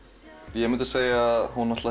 ég myndi segja að hún